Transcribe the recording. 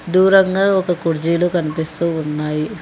దూరంగా ఒక కుడ్జీలు కనిపిస్తూ ఉన్నాయి.